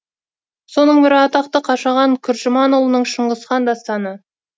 соның бірі атақты қашаған күржіманұлының шыңғыс хан дастаны